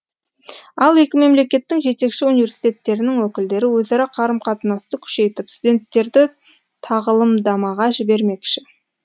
ал екі мемлекеттің жетекші университеттерінің өкілдері өзара қарым қатынасты күшейтіп студенттерді тағылымдамаға жібермекші